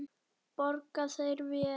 Borga þeir vel?